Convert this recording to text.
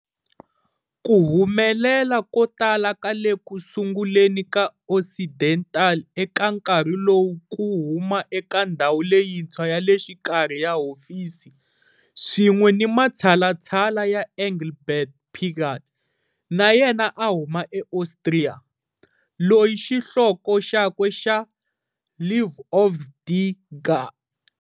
Ku humelela ko tala ka le ku sunguleni ka Occidental eka nkarhi lowu ku huma eka ndhawu leyintshwa ya le xikarhi ya hofisi, swin'we ni matshalatshala ya Engelbert Pigal, na yena a huma eAustria, loyi xihloko xakwe xa"Li Ovre de Edgar.